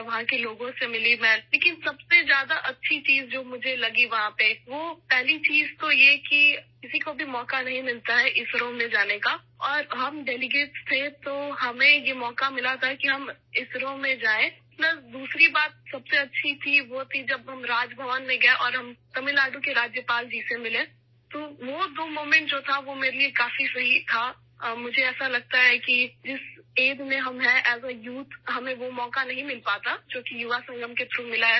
میں وہاں کے لوگوں سے ملی ہوں لیکن سب سے اچھی چیز ، جو مجھے وہاں ملی وہ یہ ہے کہ پہلی بات یہ ہے کہ کسی کو بھی اسرو جانے کا موقع نہیں ملتا اور ہم ڈیلیگیٹ تھے اس لیے ہمیں اسرو میں جانے کا موقع ملا، دوسری بات سب سے اچھی تھی کہ جب ہم راج بھون میں گئے اور ہم تمل ناڈو کے گورنر جی سے ملے تو وہ دو موقع تھے ، میرے لیے کافی اچھا تھا اور مجھے لگتا ہے کہ جس عمر میں ہم ہیں، ہمیں وہ موقع نہیں ملتا ، جو ہمیں یووا سنگم کے ذریعے ملا